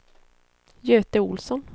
Göte Olsson